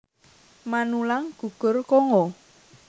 Manulang gugur Kongo